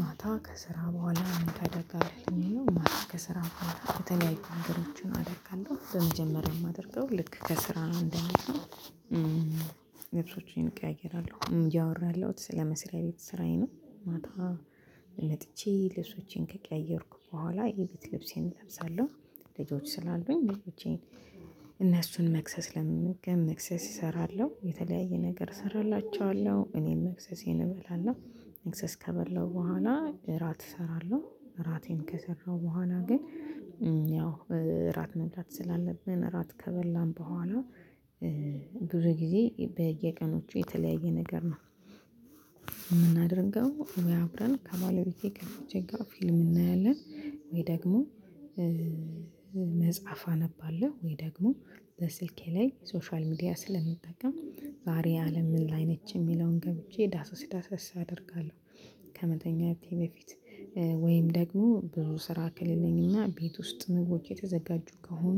ማታ ከስራ በኋላ ምን ታደርጋለህ? የሚል ነው ማታ ከስራ በኋላ የተለያዩ ነገሮችን አደጋለሁ በመጀመሪያ የማደርገው ልክ ከስራ እንደመጣው። ልብሶቼን እቀያየራለሁ እያወራሁ ያለሁት ስለመስሪያ ቤት ስራዬ ነው። ማታ መጥቼ ልብሶቼን ከቀያየርኩ በኋላ የቤት ልብሴን እለብሳለሁ ልጆች ስላሉኝ ልጆቼን እነሱን መክሰስ ለመመገብ መክሰስ እሰራለሁ የተለያየ ነገር እሰራላችኋለሁ እኔም መክሰሴን እበላለሁ። መክሰስ ከበላሁ በኋላ እራት እሰራለሁ እራቴን ከሰራሁ በኋላ ግን ያው እራት መብላት ስላለብን እራት ከበላን በኋላ። ብዙ ጊዜ በየቀኖቹ የተለያየ ነገር ነው። የምናደርገው ወይ አብረን ከባለቤቴ ከልጆቼ ጋር ፊልም እናያለን። ወይ ደግሞ መጽሐፍ አነባለሁ ወይ ደግሞ በስልኬ ላይ ሶሻል ሚዲያ ስለምጠቀም ዛሬ አለም ምን ላይ ነች የሚለውን ገብቼ ዳሰስ ዳሰስ አደርጋለሁ። ከመተኛቴ በፊት ወይም ደግሞ ብዙ ስራ ከሌለኝና ቤት ውስጥ ምግቦች የተዘጋጁ ከሆኑ።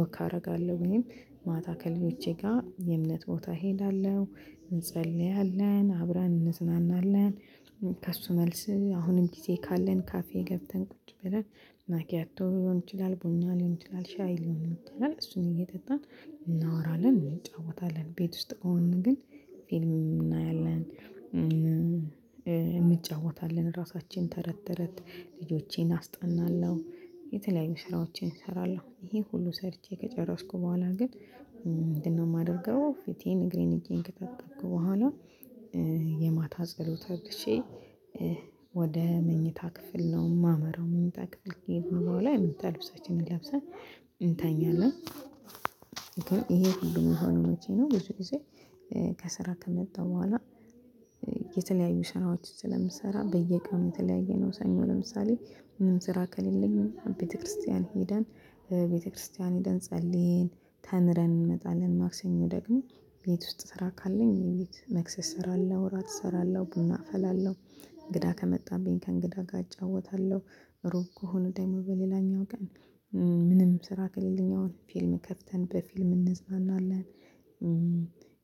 ወክ አደርጋለሁ ወይም ማታ ከልጆቼ ጋር የእምነት ቦታ እሄዳለሁ እንጸልያለን አብረን እንዝናናለን። ከእሱ መልስ አሁንም ጊዜ ካለን ካፌ ገብተን ቁጭ ብለን ማኪያቶ ሊሆን ይችላል ቡኛ ሊሆን ይችላል ሻይ ሊሆን ይችላል እሱን እየጠጣን እናወራለን እንጫወታለን ቤት ውስጥ ከሆንን ግን ፊልም እናያለን። እንጫወታለን ራሳችን ተረት ተረት ልጆቼን አስጠናለሁ። የተለያዩ ስራዎቼን እሰራለሁ ይሄ ሁሉ ሰርቼ ከጨረስኩ በኋላ ግን። ምንድነው የማደርገው? ፊቴን እግሬን እጄን ከታጠብኩ በኋላ። የማታ ጸሎት አድርሼ ወደ መኝታ ክፍል ነው የማመራው መኝታ ክፍል ከሄድን በኋላ የመኝታ ልብሳችንን ለብሰን እንተኛለን። ይሄ ሁሉ የሚሆነው መቼ ነው? ብዙ ጊዜ ከስራ ከመጣው በኋላ። የተለያዩ ስራዎች ስለምሰራ በየቀኑ የተለያየ ነው ሰኞ ለምሳሌ። ስራ ከሌለኝ ቤተክርስቲያን ሄደን ቤተክርስቲያን ሄደን ጸልይን ተምረን እንመጣለን። ማክሰኞ ደግሞ ቤት ውስጥ ስራ ካለኝ ቤት መክሰስ እሰራለሁ እራት እሰራለሁ ቡና አፈላለሁ። እንግዳ ከመጣብኝ ከእንግዳ ጋር እጫወታለሁ ሩቅ ከሆነ ደግሞ በሌላኛው ቀን። ምንም ስራ ከሌለኝ አሁን ፊልም ከፍተን በፊልም እንዝናናለን።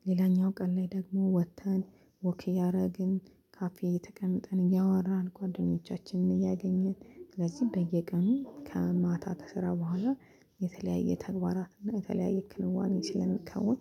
ሌላኛው ቀን ላይ ደግሞ ወጥተን ወክ እያደረግን ካፌ ተቀምጠን እያወራን ጓደኞቻችንን እያገኘን ስለዚህ በየቀኑ ከማታ ከስራ በኋላ የተለያየ ተግባራት እና የተለያየ ክንዋኔ ስለምከውን